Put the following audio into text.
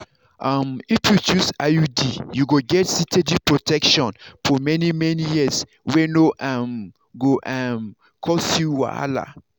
um if you choose iud you go get steady protection for many-many years wey no um go um cause you wahala.